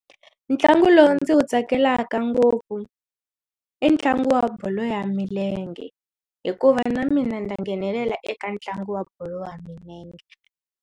Ntlangu lowu ndzi wu tsakelaka ngopfu i ntlangu wa bolo ya milenge hikuva na mina ndza nghenelela eka ntlangu wa bolo ya milenge.